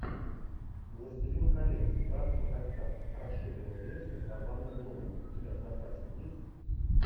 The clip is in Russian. властелин колец братство кольца расширенная версия с орландо блумом у тебя в запасе есть